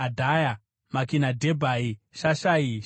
Makinadhebhai, Shashai, Sharai,